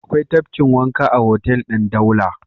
Akwai tafkin wanka a hotel ɗin Daula.